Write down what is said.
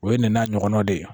O ye nin n'a ɲɔgɔnnaw de ye